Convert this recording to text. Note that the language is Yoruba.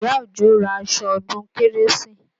Ìyá Òjó ra aṣọ ọdún kérésì